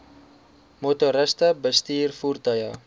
motoriste bestuur voertuie